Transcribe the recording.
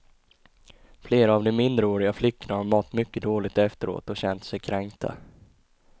Flera av de minderåriga flickorna har mått mycket dåligt efteråt och känt sig kränkta.